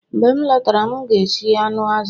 Mgbe m lọtara, m ga-esi anụ azụ